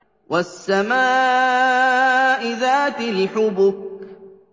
وَالسَّمَاءِ ذَاتِ الْحُبُكِ